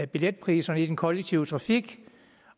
billetpriserne i den kollektive trafik